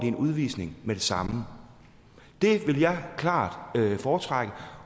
en udvisning med det samme det vil jeg klart foretrække